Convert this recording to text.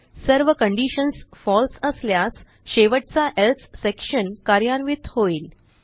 सर्व conditions false असल्यास शेवटचा एल्से सेक्शन कार्यान्वित होईल